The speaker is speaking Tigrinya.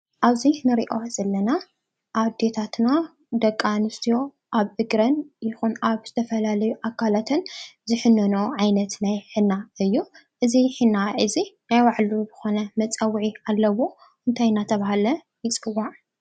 ኣብዚ እንሪኦ ዘለና ኣዴታትና ደቂ ኣንስትዮ ኣብ እግረን ይኹን ኣብ ዝተፈላለዩ ኣካላተን ዝሕነንኦ ዓይነት ናይ ሒና እዩ። እዚ ሒና እዚ ናይ ባዕሉ ዝኾነ መፀዉዒ ኣለዎ እንታይ እናተብሃለ ይፅዋዕ?